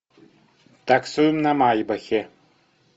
таксуем на майбахе